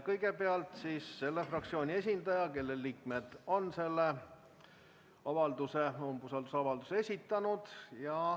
Kõigepealt selle fraktsiooni esindaja, kelle liikmed on umbusaldusavalduse esitanud.